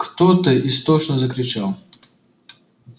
кто-то истошно закричал